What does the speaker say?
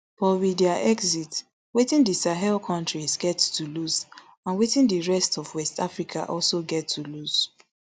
but with dia exit wetin di sahel kontries get to lose and wetin di rest of west africa also get to lose